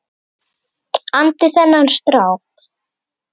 andi þennan strák.